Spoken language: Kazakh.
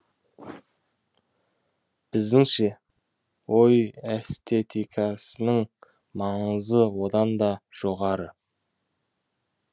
біздіңше ой эстетикасының маңызы оданда жоғары